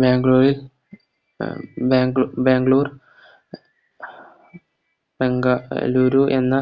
ബാംഗ്ലൂരിൽ ബാംഗ് ബാംഗ്ലൂർ ബെങ്ക ളൂരു എന്ന